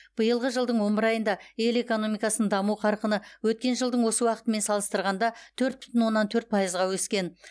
биылғы жылдың он бір айында ел экономикасының даму қарқыны өткен жылдың осы уақытымен салыстырғанда төрт бүтін оннан төрт пайызға өскен